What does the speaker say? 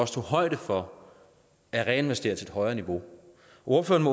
tog højde for at reinvestere sit højere niveau ordføreren